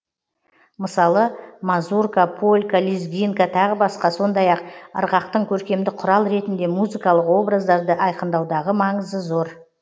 мысалы мазурка полька лезгинка тағы басқа сондай ақ ырғақтың көркемдік құрал ретінде музыкалық образдарды айқындаудағы маңызы бар